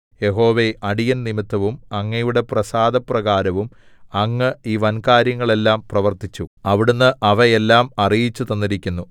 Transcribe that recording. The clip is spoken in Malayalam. യഹോവേ അടിയൻ നിമിത്തവും അങ്ങയുടെ പ്രസാദപ്രകാരവും അങ്ങ് ഈ വൻകാര്യങ്ങളെല്ലാം പ്രവർത്തിച്ചു അവിടുന്ന് അവ എല്ലാം അറിയിച്ചുതന്നിരിക്കുന്നു